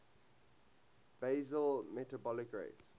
basal metabolic rate